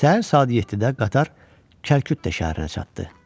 Səhər saat 7-də qatar Kərküt şəhərinə çatdı.